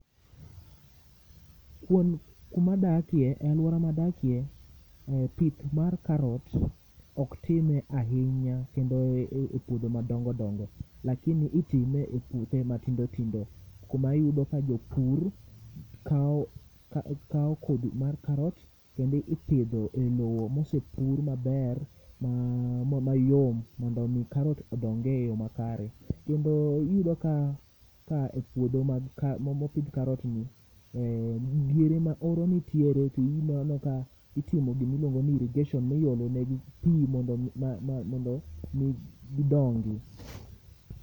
Kuom kuma adakie aluora ma adakie pith mar carrot ok time ahinya kendo e puodho ma dongo dongo lakini i time e puothe ma tindo tindo kuma iyuda ka japur kawo kodhi mar carrot kendo ipidho e lowo ma osepur maber mayom mondo mi carrot odong e yo kare kendo iyudo ka e puodho ma opidh carrot ni diere ma oro nitiere to ineno ka itimo gima iluongo ni irrigation mi iolo negi pii mondo mi gi dongi.